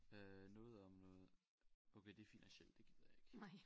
Øh noget om noget okay det finansielt det gider jeg ikke